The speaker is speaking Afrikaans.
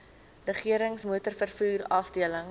regerings motorvervoer afdeling